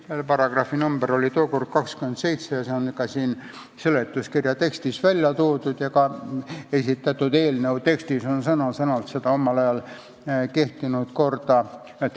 Selle paragrahvi number oli tookord 27 ja see on ka siin seletuskirja tekstis välja toodud ning see omal ajal kehtinud kord on sõna-sõnalt kirjas.